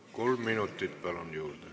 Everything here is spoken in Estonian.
Kolm minutit juurde, palun!